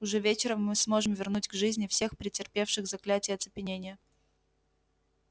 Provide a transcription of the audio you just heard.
уже вечером мы сможем вернуть к жизни всех претерпевших заклятие оцепенения